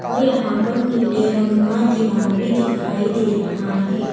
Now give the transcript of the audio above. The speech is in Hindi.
और यहां पर नीले रंग का दीवार भी दिखाई दे रहा है।